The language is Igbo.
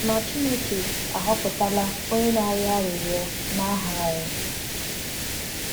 Ma Chineke ahọpụtala onye na-arịọ arịrịọ n’aha anyị.